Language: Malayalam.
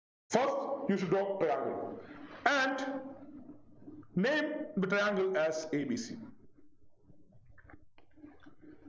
first You should draw Triangle And name the triangle as A B C